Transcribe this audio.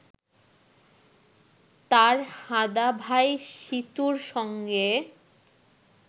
তার হাঁদা ভাই সীতুর সঙ্গে